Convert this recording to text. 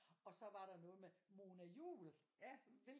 Og så var der noget med Mona Juul